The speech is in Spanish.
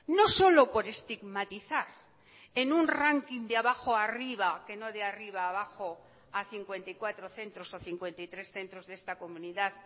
no solo por estigmatizar en un ranking de abajo arriba que no de arriba abajo a cincuenta y cuatro centros o cincuenta y tres centros de esta comunidad